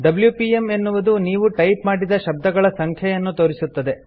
WPM - ಎನ್ನುವುದು ನೀವು type ಮಾಡಿದ ಶಬ್ದಗಳ ಸಂಖ್ಯೆಯನ್ನು ತೋರಿಸುತ್ತದೆ